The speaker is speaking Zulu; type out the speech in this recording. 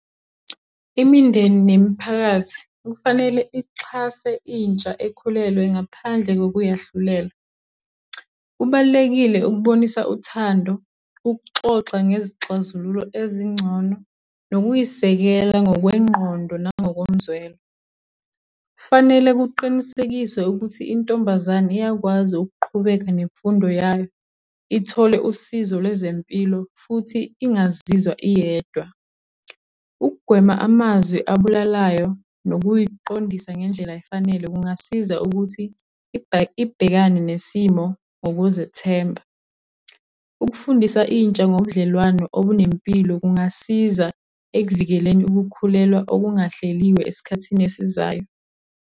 Imindeni nemiphakathi, kufanele ihxase intsha ekhulelwe ngaphandle kokuyahlulela. Kubalulekile ukubonisa uthando, ukuxoxa ngezixazululo ezingcono, nokuyisekela ngokwengqondo nangokomzwelo. Fanele kuqinisekiswe ukuthi intombazane iyakwazi ukuqhubeka nemfundo yayo, ithole usizo lwezempilo futhi ingaziwa iyedwa. Ukugwema amazwi abulalayo, nokuy'qondisa ngendlela efanele, kungasiza ukuthi ibhekane nesimo ngokuzethemba. Ukufundisa intsha ngobudlelwano obunempilo kungasiza ekuvikeleni ukukhulelwa okungahleliwe esikhathini esizayo.